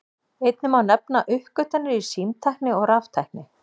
Einnig má nefna uppgötvanir í símtækni og raftækni.